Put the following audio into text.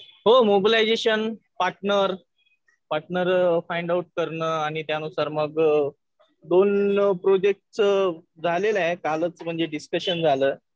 हो mobilisation partner find out करणं आणि मग त्यानुसार दोन प्रोजेक्टचं झालेलं आहे कालच म्हणजे डिस्कशन झालं.